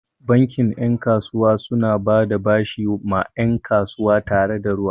Bankin 'yan kasuwa suna bada bashi ma 'yan kasuwa tare da ruwa.